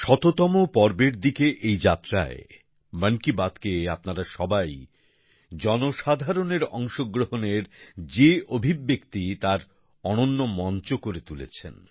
শতপূর্তির দিকে এই যাত্রায় মন কি বাতকে আপনারা সবাই জনসাধারণের অংশগ্রহণের যে অভিব্যক্তি তার অনন্য মঞ্চ করে তুলেছেন